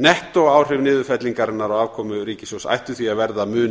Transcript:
nettóáhrif niðurfellingarinnar á afkomu ríkissjóðs ættu því að verða mun